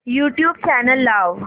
YouTube channel लाव